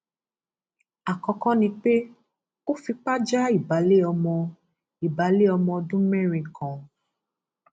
àkọkọ ni pé ó fipá já ìbàlẹ ọmọ ìbàlẹ ọmọ ọdún mẹrin kan